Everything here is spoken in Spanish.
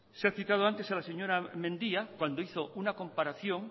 se ha explicado antes a la señora mendia cuando hizo una comparación